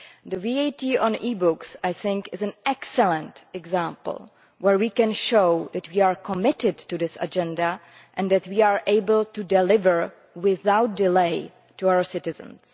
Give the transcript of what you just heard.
The VAT on e-books, I think, is an excellent example where we can show that we are committed to this agenda and that we are able to deliver without delay to our citizens.